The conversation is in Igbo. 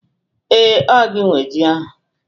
Ee, ọ gị nwe ji ahụ